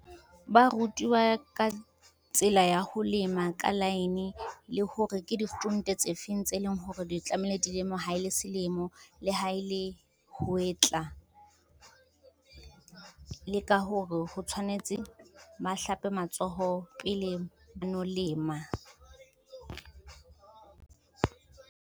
Ba rutiwa ka tsela ya ho lema ka line le hore ke di stront tse feng tse leng hore di tlamehile dilemo ha ele Selemo, le ha ele Hwetla. Le ka hore ho tshwanetse ba hlape matsoho pele ba no lema.